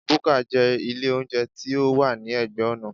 Búkà jẹ́ ilé óúnjẹ tí ó wà ní ẹ̀gbẹ́ ọ̀nà